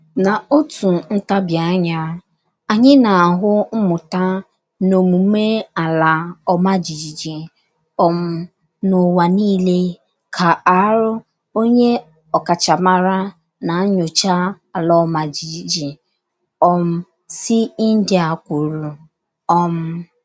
N’otu ntabi anya, anyị na-ahụ mmụta na omume ala Ọma jijiji um n'ụwa niile, ka R. Onye ọkachamara na nyocha ala ọma jijiji um si India kwuru. um